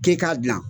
K'e k'a dilan